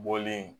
Bɔlen